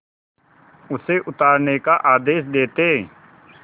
उसे उतारने का आदेश देते